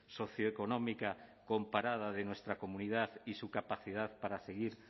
socioeconómica comparada de nuestra comunidad y su capacidad para seguir